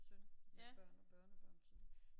Søn med børn og børnebørn så det